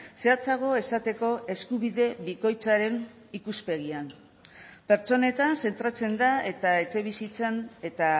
zehatzago esateko eskubide bikoitzaren ikuspegian pertsonetan zentratzen da eta etxebizitzan eta